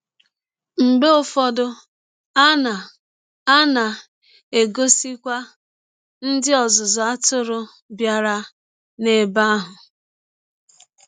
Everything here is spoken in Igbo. Mgbe ụfọdụ, a na a na - egọsikwa ndị ọzụzụ atụrụ bịara n’ebe ahụ.